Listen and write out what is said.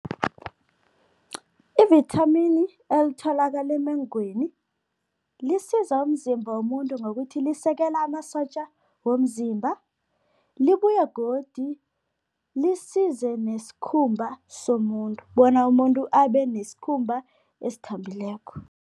Ivithamini elitholakala emengweni lisiza umzimba womuntu ngokuthi lisekela amasotja womzimba, libuye godu lisize nesikhumba somuntu bona umuntu abe nesikhumba esithambileko.